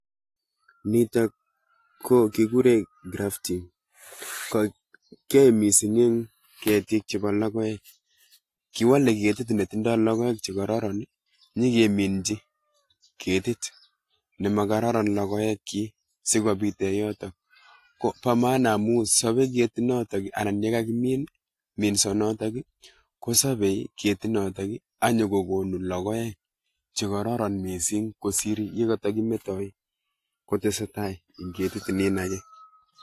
Niton ko kiguren [grafting] ,kiyoe mising en ketik chepo lokoek ,kiwole ketit be tindo lokoek che kororon, nyokeminchi ketit ne mokororon lokoekyik si kobiten yoton ,ko bo [ maana] amun sobeiyet noton anan yekakimin minsonoton kosobe ketinoton ak kokonu lokoek che kororon mising kosir ye kotokimetoi kotesetai en ketit nin akee